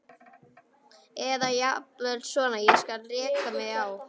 Eða jafnvel svona: Ég varð að reka mig á.